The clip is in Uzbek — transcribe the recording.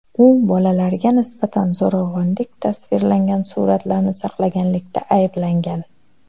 U bolalarga nisbatan zo‘ravonlik tasvirlangan suratlarni saqlaganlikda ayblangan.